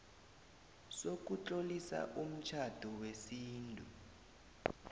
sokutlolisa umtjhado wesintu